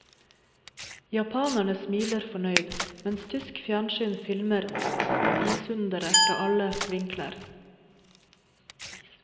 Japanere smiler fornøyd, mens tysk fjernsyn filmer isunderet fra alle vinkler.